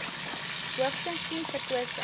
hoogstens tien verkose